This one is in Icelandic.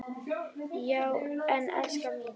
Já en elskan mín.